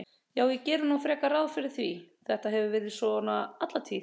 Já, ég geri nú frekar ráð fyrir því, þetta hefur verið svona alla tíð.